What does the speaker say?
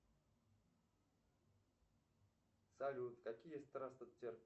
салют какие